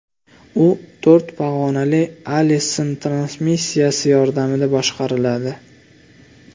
U to‘rt pog‘onali Allison transmissiyasi yordamida boshqariladi.